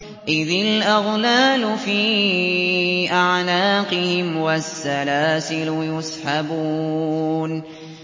إِذِ الْأَغْلَالُ فِي أَعْنَاقِهِمْ وَالسَّلَاسِلُ يُسْحَبُونَ